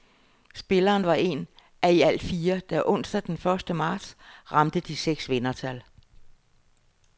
Spilleren var en af i alt fire, der onsdag den første marts ramte de seks vindertal.